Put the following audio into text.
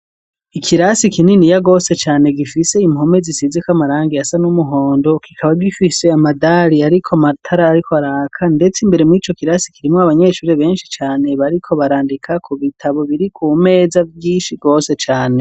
ikirasi kinini ya gwose cane gifise impome zisizeko amarangi asa n'umuhondo kikaba gifise amadari ariko matara ariko araka ndetse imbere muri co kirasi kirimwo abanyeshure benshi cane bariko barandika ku bitabo biri ku meza vyinshi gwose cane.